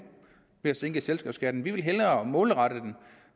at sænke selskabsskatten vi vil hellere målrette den